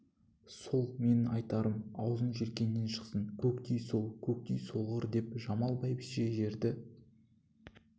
сол менің айтарым аузың желкеңнен шықсын көктей сол көктей солғыр деп жамал бәйбіше жерді